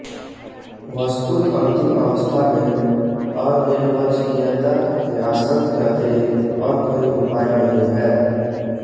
वस्तुत अंतिम अवस्था में अनिर्वचनीयता के आश्रम के अतिरिक्त और कोई उपाय नहीं है